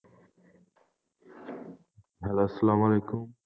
Hello আসসালামু আলাইকুম।